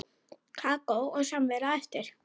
Kakó og samvera á eftir.